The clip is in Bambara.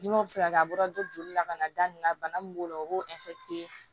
Dimiw bɛ se ka kɛ a bɔra joli la ka na da nin na bana min b'o la o b'o